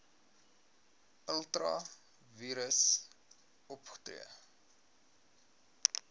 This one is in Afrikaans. ultra vires opgetree